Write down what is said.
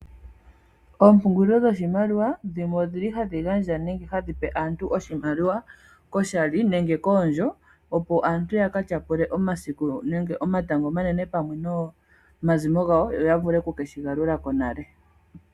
Oompungulilo dhoshimaliwa dhimwe odhili hadhi gandja nenge hadhi pe aantu oshimaliwa koshali nenge koondjo opo aantu ya katyapule omasiku nenge omatango omanene pamwe nomazimo gawo yo yavule okushigalula konale.